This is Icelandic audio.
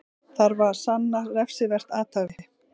Þarf að sanna refsivert athæfi